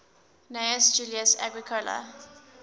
gnaeus julius agricola